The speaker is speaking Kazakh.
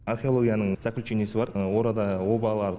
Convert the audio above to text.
археологияның заключениясы бар оларда обалар